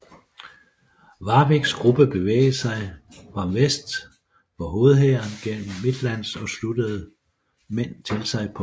Warwicks gruppe bevægede sig fram vest for hovedhæren gennem Midlands og sluttede mænd til sig på vejen